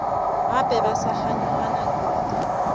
gape ba sa kganyogana kudu